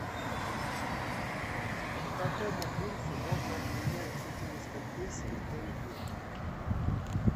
по какому курсу можно обменять четыреста песо в тенге